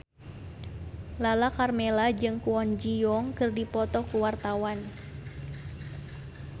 Lala Karmela jeung Kwon Ji Yong keur dipoto ku wartawan